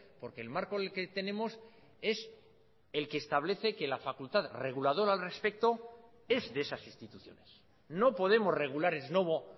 porque el marco que tenemos es el que establece que la facultad reguladora al respecto es de esas instituciones no podemos regular ex novo